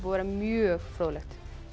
vera mjög fróðlegt